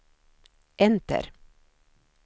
enter